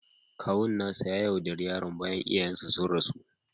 Kawun nasa ya yaudare yaron bayan iyayensa sun rasu